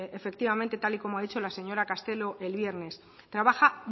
efectivamente y tal y como ha dicho la señora castelo el viernes trabaja